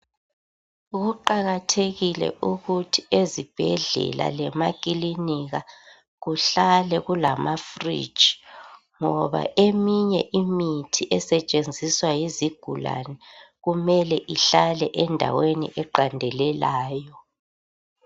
Kuqakathekile ukuthi ezibhedlela lamakilinika kuhlale kulama 'fridge ', ngoba eminye imithi esetshenziswa yizigulane kumele ihlale endaweni eqandelelayo.